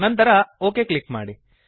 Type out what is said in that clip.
ನಂತರ OK click ಮಾಡಿ